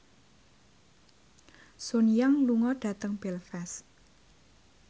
Sun Yang lunga dhateng Belfast